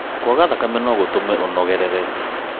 kwaga thakame nó gũtũme ũnogerere